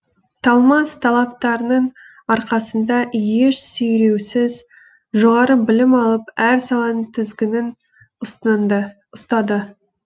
талмас талаптарының арқасында еш сүйреусіз жоғары білім алып әр саланың тізгінін ұстады